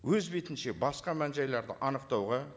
өз бетінше басқа мән жайларды анықтауға